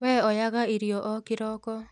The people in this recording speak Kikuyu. We oyaga iria o kĩroko